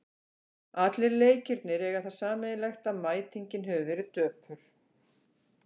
Allir leikirnir eiga það sameiginlegt að mætingin hefur verið döpur.